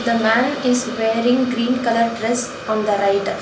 The man is wearing green colour dress on the right.